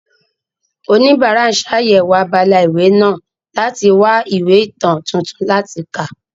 Oníbàárà ń ṣàyẹ̀wò abala ìwé náà láti wá ìwé ìtàn tuntun láti kà.